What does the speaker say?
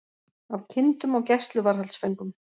Af kindum og gæsluvarðhaldsföngum